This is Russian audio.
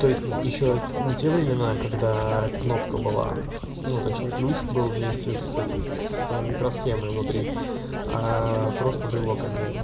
то есть ещё не те времена когда кнопка была ну точнее ключ был вместе с этим с микросхемой внутри просто брелок отдельный